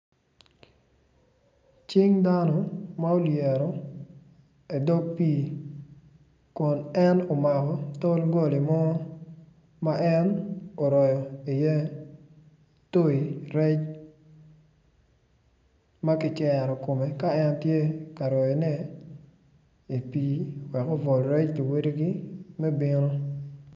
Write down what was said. Cing dano ma olyero i dog pii kun omako tol goli mo ma en oroyo iye toi rec ma kicero kome i pii wek obwol rec luwedigi me bino.